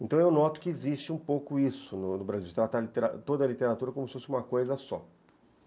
Então eu noto que existe um pouco isso no no Brasil, de tratar toda a literatura como se fosse uma coisa só.